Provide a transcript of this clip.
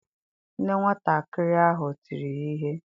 Nne nwatakịrị ahụ tiri ya ihe.